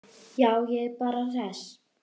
Já, ég er bara hress.